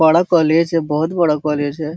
बड़ा कॉलेज है बहोत बड़ा कॉलेज है।